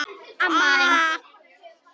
Skoðum þetta aðeins.